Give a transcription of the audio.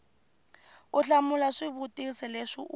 u hlamula swivutiso leswi wu